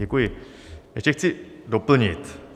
Děkuji, ještě chci doplnit.